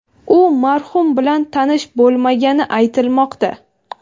U marhum bilan tanish bo‘lmagani aytilmoqda.